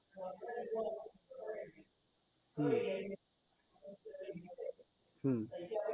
હમ હમ